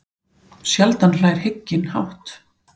Sjaldan hlær hygginn hátt.